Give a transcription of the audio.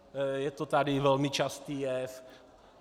Je to tady velmi častý jev.